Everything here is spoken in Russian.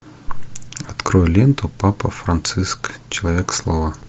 открой ленту папа франциск человек слова